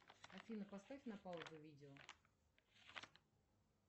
афина поставь на паузу видео